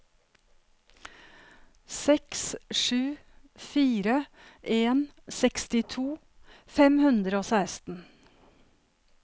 seks sju fire en sekstito fem hundre og seksten